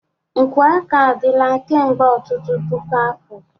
Nkwọ aka adịla kemgbe ọtụtụ puku afọ.